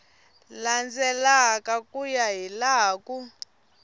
landzelaka ku ya hilaha swi